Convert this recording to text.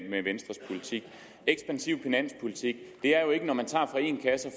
venstres politik ekspansiv finanspolitik er jo ikke når man tager fra en kasse og